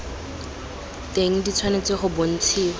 teng di tshwanetse go bontshiwa